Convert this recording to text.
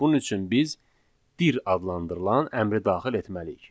Bunun üçün biz dir adlandırılan əmri daxil etməliyik.